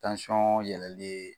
yɛlɛli ye.